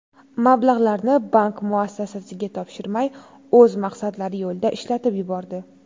Mablag‘larni bank muassasasiga topshirmay, o‘z maqsadlari yo‘lida ishlatib yubordi.